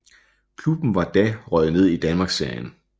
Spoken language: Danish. Klubben var da røget ned i Danmarksserien